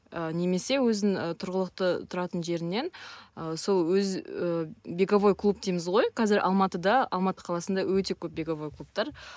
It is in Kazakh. і немесе өзін і тұрғылықты тұратын жерінен і сол өзі і беговой клуб дейміз ғой қазір алматыда алматы қаласында өте көп беговой клубтар